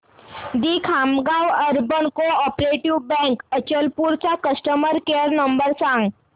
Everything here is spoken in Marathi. दि Khamgaon urban co operative bank Achalpur चा कस्टमर केअर नंबर सांग